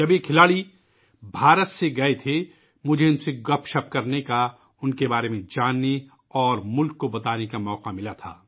جب یہ کھلاڑی بھارت سے روانہ ہوئے تھے تو مجھے ان کے ساتھ گپ شپ کرنے کا ، ان کے بارے میں جاننے اور ملک کو بتانے کا موقع ملا